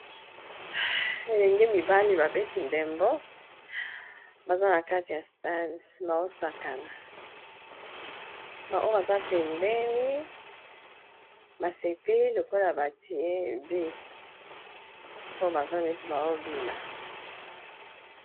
Elenge mibale babeti ndembo baza na kati ya stade baosakana ba oyo baza pembeni ba sepeli lokola batie but po baza neti baobina.